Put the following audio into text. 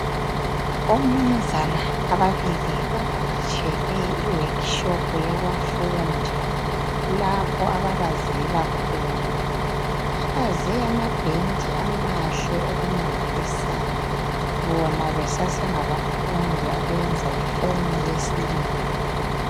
Omnumzana ababili bavakatshele iworkshop yabafundi, lapho ababazela khona. Babaze ama bench amahle okumangalisayo, bona besasengabafundi abenza iform yesibili.